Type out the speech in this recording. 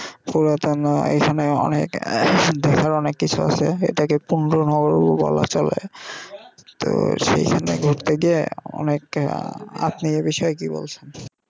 পুরাতন এইখানে অনেক আহ দেখার অনেক কিছু আছে এটা কে নগর ও বলা চলে তো সেখানে ঘুরতে গিয়ে অনেক আপনি এ বিষয়ে কি বলছেন?